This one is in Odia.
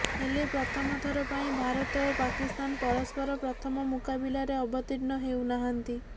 ହେଲେ ପ୍ରଥମ ଥର ପାଇଁ ଭାରତ ଓ ପାକିସ୍ତାନ ପରସ୍ପର ପ୍ରଥମ ମୁକାବିଲାରେ ଅବତୀର୍ଣ୍ଣ ହେଉନାହାନ୍ତି